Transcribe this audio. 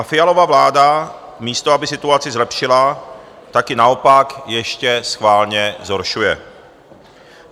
A Fialova vláda, místo aby situaci zlepšila, tak ji naopak ještě schválně zhoršuje.